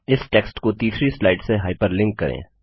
इस टेक्स्ट को तीसरी स्लाइड से हाइपरलिंक करें